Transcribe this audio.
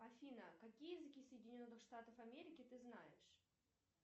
афина какие языки соединенных штатов америки ты знаешь